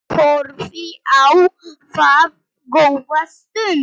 Horfði á það góða stund.